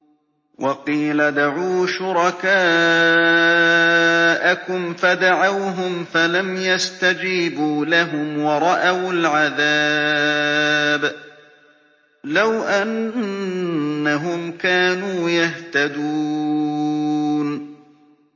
وَقِيلَ ادْعُوا شُرَكَاءَكُمْ فَدَعَوْهُمْ فَلَمْ يَسْتَجِيبُوا لَهُمْ وَرَأَوُا الْعَذَابَ ۚ لَوْ أَنَّهُمْ كَانُوا يَهْتَدُونَ